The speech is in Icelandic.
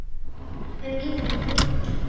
um mínum.